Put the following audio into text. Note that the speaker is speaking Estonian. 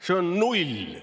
See on null.